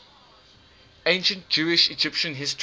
ancient jewish egyptian history